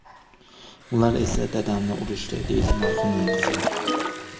Ular esa dadamni urishdi”, deydi marhumning qizi.